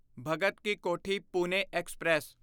Bhagat Ki Kothi Pune express